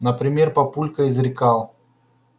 например папулька изрекал